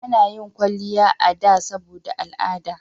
A na yin kwalliya a da saboda al'ada